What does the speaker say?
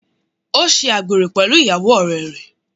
Ó ṣe àgbèrè pẹ̀lú ìyàwó ọ̀rẹ́ rẹ̀.